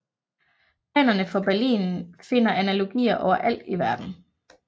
Planerne for Berlin finder analogier overalt i verden